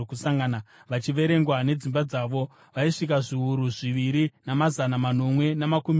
vachiverengwa nedzimba dzavo, vaisvika zviuru zviviri, namazana manomwe namakumi mashanu.